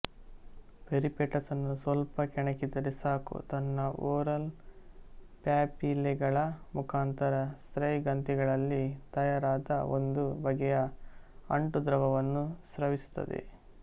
ಪೆರಿಪೇಟಸ್ಸನ್ನು ಸ್ವಲ್ಪ ಕೆಣಕಿದರೆ ಸಾಕು ತನ್ನ ಓರಲ್ ಪ್ಯಾಪಿಲೆಗಳ ಮುಖಾಂತರ ಸ್ಲೈಂ ಗ್ರಂಥಿಗಳಲ್ಲಿ ತಯಾರಾದ ಒಂದು ಬಗೆಯ ಅಂಟುದ್ರವವನ್ನು ಸ್ರವಿಸುತ್ತದೆ